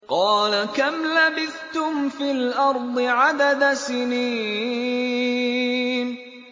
قَالَ كَمْ لَبِثْتُمْ فِي الْأَرْضِ عَدَدَ سِنِينَ